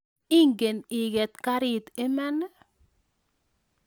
Ingen iget karit iman?